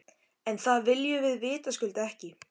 En það viljum við vitaskuld ekki.